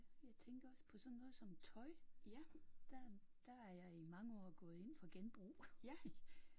Jeg tænkte også på sådan noget som tøj. Der der er jeg i mange år gået ind for genbrug